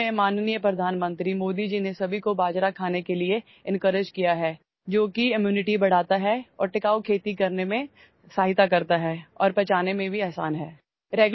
حال ہی میں، عزت مآب وزیر اعظم مودی جی نے سب کو موٹا اناج کھانے کی ترغیب دی ہے، جو امراض کی روک تھام کے لئے قوت مدافعت بڑھاتا ہے اور پائیدار زراعت میں مدد کرتا ہے اور ہضم کرنا بھی آسان ہے